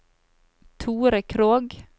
Thore Krogh